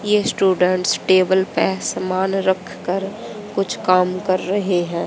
ये students table पे सामान रख कर कुछ काम कर रहे हैं।